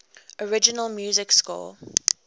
original music score